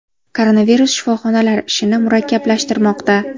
Koronavirus shifoxonalar ishini murakkablashtirmoqda.